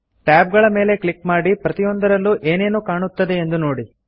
tab ಗಳ ಮೇಲೆ click ಮಾಡಿ ಪ್ರತಿಯೊದರಲ್ಲೂ ಏನೇನು ಕಾಣುತ್ತದೆ ಎಂದು ನೋಡಿ